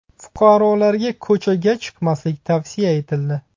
Fuqarolarga ko‘chaga chiqmaslik tavsiya etildi.